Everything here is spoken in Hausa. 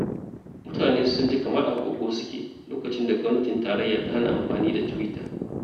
Mutane sun ji kamar a kogo suke, lokacin da Gwamnatin Tarayya ta hana amfani da tiwita.